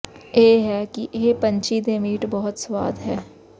ਇਹ ਹੈ ਕਿ ਇਹ ਪੰਛੀ ਦੇ ਮੀਟ ਬਹੁਤ ਸਵਾਦ ਹੈ